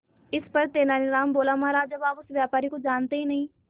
इस पर तेनालीराम बोला महाराज जब आप उस व्यापारी को जानते ही नहीं